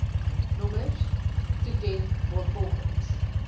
nommers toeken waarvolgens